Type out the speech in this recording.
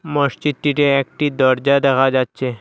মসজিদটিতে একটি দরজা দেখা যাচ্ছে।